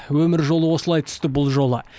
өмір жолы осылай түсті бұл жолы